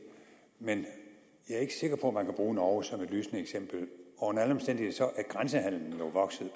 men jeg er ikke sikker på at man kan bruge norge som et lysende eksempel og under alle omstændigheder er grænsehandelen jo vokset